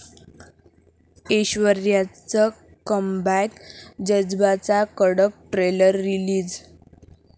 ऐश्वर्याचं comeback, 'जज्बा'चा कडक trailer release